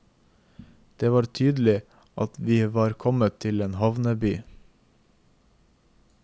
Det var tydelig vi var kommet til en havneby.